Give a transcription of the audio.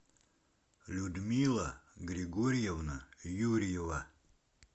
людмила григорьевна юрьева